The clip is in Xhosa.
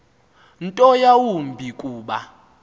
nto yawumbi kuba